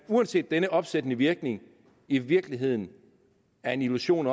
uanset denne opsættende virkning i virkeligheden er en illusion